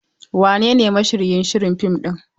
Wanene mashiryin shirin fim ɗin?